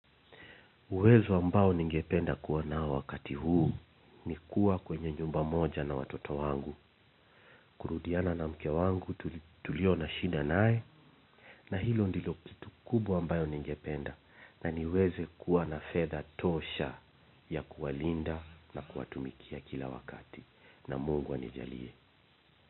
Uwezo ambao ningependa kuwa nao wakati huu ni kuwa kwenye nyumba moja na watoto wangu, kurudiana na mke wangu tulio na shida nae, na hilo ndilo kitu kubwa ambayo ningependa, na niweze kuwa na fedha tosha ya kuwalinda na kuwatumikia kila wakati, na Mungu anijalie.